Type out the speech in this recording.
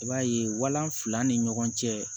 I b'a ye walan fila ni ɲɔgɔn cɛ